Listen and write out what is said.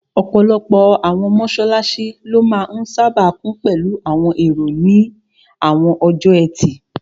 Ọ̀pọ̀lọpọ̀ àwọn mọ́sálásí ló máa n sáábà kún pẹ̀lú àwọn èrò ní àwọn ọjọ́ ẹtì